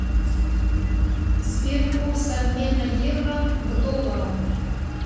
сбер курс обмена евро к доллару